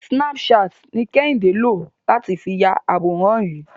Snapchat ni Kẹ́hìndé lò láti fi ya àwòrán yìí.